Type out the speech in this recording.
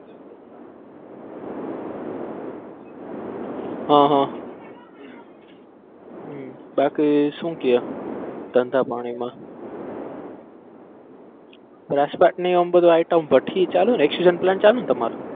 હા હા હમ બાકી શું કેય ધંધા પાણીમાં? ચાલુ છે ને તમાર?